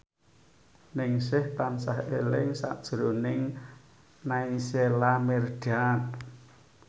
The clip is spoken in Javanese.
Ningsih tansah eling sakjroning Naysila Mirdad